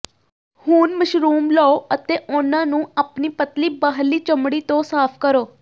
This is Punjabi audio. ਹੁਣ ਮਸ਼ਰੂਮ ਲਓ ਅਤੇ ਉਨ੍ਹਾਂ ਨੂੰ ਆਪਣੀ ਪਤਲੀ ਬਾਹਰਲੀ ਚਮੜੀ ਤੋਂ ਸਾਫ਼ ਕਰੋ